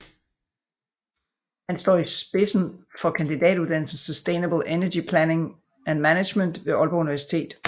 Han står også i spidsen for kandidatuddannelsen Sustainable Energy Planning and Management ved Aalborg Universitet